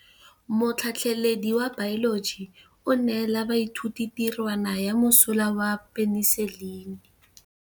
Motlhatlhaledi wa baeloji o neela baithuti tirwana ya mosola wa peniselene.